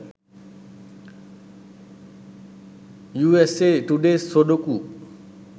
usa today sudoku